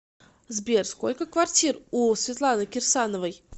сбер сколько квартир у светланы кирсановой